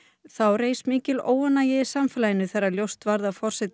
óánægja í samfélaginu þegar ljóst að forsetinn hafði veitt dæmdum